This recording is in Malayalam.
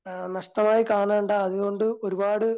അഹ് നഷ്ടമായി കാണേണ്ട അതുകൊണ്ട് ഒരുപാട്